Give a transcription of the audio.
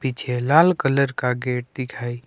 पीछे लाल कलर का गेट दिखाई--